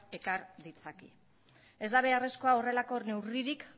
ekar ditzake ez da beharrezkoa horrelako neurririk